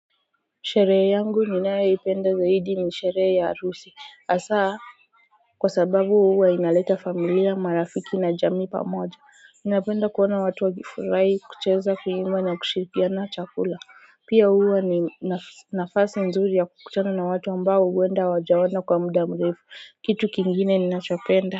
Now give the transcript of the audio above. Sherehe yangu ninayoipenda zaidi ni sherehe ya harusi hasa kwa sababu huwa inaleta familia marafiki na jamii pamoja ninapenda kuona watu wakifurahi kucheza kuimba na kushirikiana chakula pia huwa ni nafasi nzuri ya kukutana na watu ambao huwenda hawajaona kwa muda mrefu kitu kingine ninachopenda.